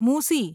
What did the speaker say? મુસી